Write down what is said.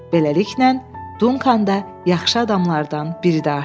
Beləliklə, Dunkannda yaxşı adamlardan biri də artdı.